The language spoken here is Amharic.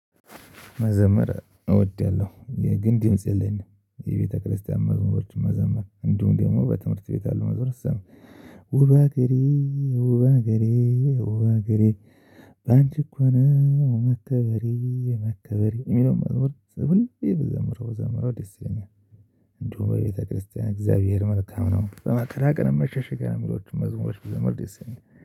መዘመር እወዳለሁ የግን ድምጽ የለኝም የቤተክርስቲያን መዝሙር መዘመር እንዲሁም ደግሞ በትምህርት ቤት አለው መዝሙር ውብ አገሬ ውብ አገሬ ውብ አገሬ በአንቺ እኮ ነው መከበሬ መከበሬ እሚለውን መዝሙር ሁሌ ብዘምረው ብዘምረው ደስ ይለኛል። እንዲሁም በቤተክርስቲያን እግዚአብሔር መልካም ነው በመከራ ቀን መሸሸጊያ ነው እሚለውን መዝሙር ብዘምረው ደስ ይለኛል